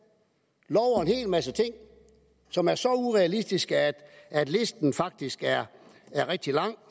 og en hel masse ting som er så urealistiske at listen faktisk er rigtig lang